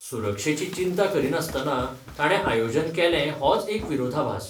सुरक्षेची चिंता करिनासतना ताणें आयोजन केलें होच एक विरोधाभास.